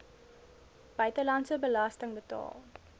buitelandse belasting betaal